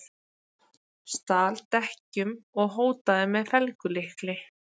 Stal dekkjum og hótaði með felgulykli